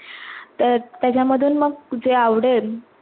आह त्या त्याजा मधून मग जे आवडेल